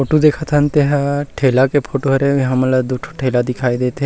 Photo देखत हन ते ह ठेला के फोटो हरे हमन ला दू ठो ठेला दिखाई देत हे।